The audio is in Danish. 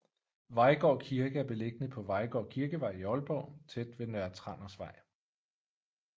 Vejgaard Kirke er beliggende på Vejgaard Kirkevej i Aalborg tæt ved Nørre Trandersvej